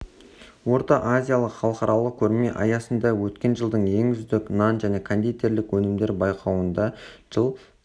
орта азиялық халықаралық көрме аясында өткен жылдың ең үздік нан және кондитерлік өнімдер байқауында жыл